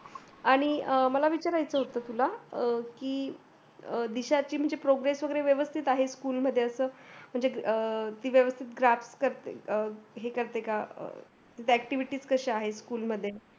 आणि मला विचारायच होत तुला अं की दिशा ची progress वगेरे व्यवस्थित आहे school मध्ये अस म्हणजे अं ती व्यवस्थित grasp हे करते का म्हणजे activities कसे आहेत school मध्ये